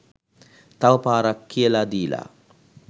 තව පාරක් කියලා දීලා